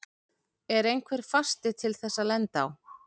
Er einhver fasti til þess að lenda á?